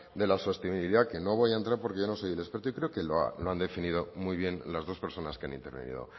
de la sostenibilidad que no voy a entrar porque yo no soy el experto y creo que lo han definido muy bien las dos personas que han intervenido